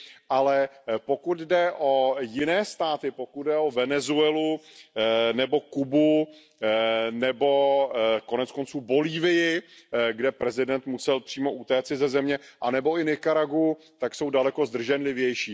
ale pokud jde o jiné státy, pokud jde o Venezuelu nebo Kubu nebo konec konců Bolívii, kde prezident musel přímo utéci ze země, anebo i Nikaraguu, tak jsou daleko zdrženlivější.